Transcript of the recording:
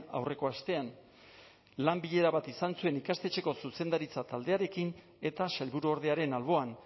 aurreko astean lan bilera bat izan zuen ikastetxeko zuzendaritza taldearekin eta sailburuordearen alboan